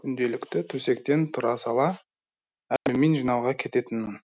күнделікті төсектен тұра сала алюмин жинауға кететінмін